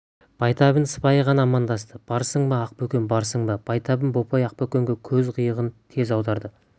байтабын сыпайы ғана амандасты барсың ба ақбөкен барсың ба байтабын бопай ақбөкенге көз қиығын тез аударды